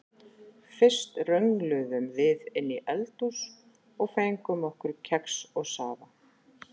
Fyrst röngluðum við inn í eldhús og fengum okkur kex og safa.